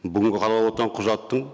бүгінгі қаралып отырған құжаттың